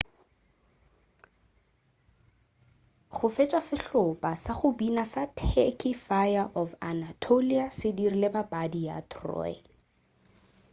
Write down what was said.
go fetša sehlopa sa go bina sa turky fire of anatolia se dirile papadi ya troy